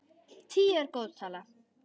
Tíu er góð tala.